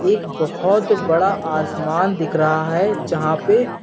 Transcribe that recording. एक बहोत बड़ा आसमान दिख रहा है जहां पे--